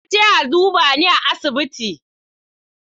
Na je a duba ni a asibiti.